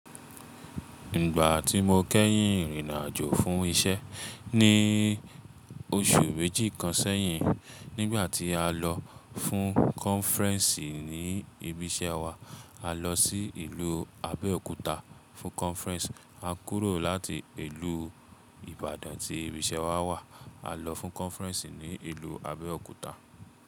Ìgbà tí mo kẹ́yìn rin ìrìn-àjò fún isẹ́ ní oṣù méjì kan sẹ́yìn, nígbà tí a lọ fún kọnfuréẹ̀sì ní ibi iṣẹ́ wa. A lọ sí ìlú Abẹ́òkúta fún kọnfuréẹ̀sì. A kúrò láti ìlú Ìbàdàn tí ibi iṣẹ́ wa wà, a lọ fún kọnfuréẹ̀sì ní ìlú Abẹ́òkúta.